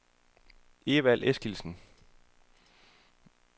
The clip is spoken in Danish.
Evald Eskildsen